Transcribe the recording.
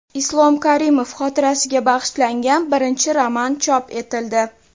Islom Karimov xotirasiga bag‘ishlangan birinchi roman chop etildi.